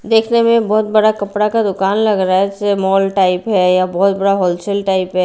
देखने में बहुत बड़ा कपड़ा का दुकान लग रहा है जैसे मॉल टाइप है या बहुत बड़ा होल सेल टाइप है।